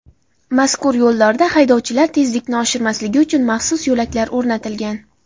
Mazkur yo‘llarda haydovchilar tezlikni oshirmasligi uchun maxsus yo‘laklar o‘rnatilgan.